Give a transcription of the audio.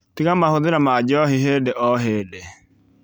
Tiga mahũthĩra ma njohi hĩndĩ o hĩndĩ